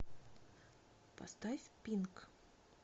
поставь пинк